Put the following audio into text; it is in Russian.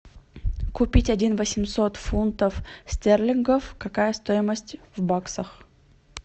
купить один восемьсот фунтов стерлингов какая стоимость в баксах